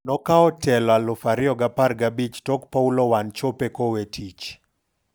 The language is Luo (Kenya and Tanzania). Nokawo telo 2015 tok Paulo Wanchope kowe tich